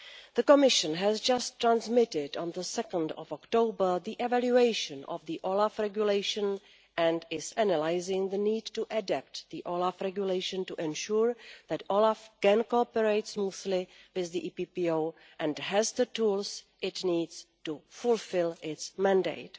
The Commission has just transmitted, on 2 October, the evaluation of the OLAF Regulation and is analysing the need to adapt the OLAF Regulation to ensure that OLAF can cooperate smoothly with the EPPO and has the tools it needs to fulfil its mandate.